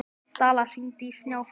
Dalla, hringdu í Snjáfríði.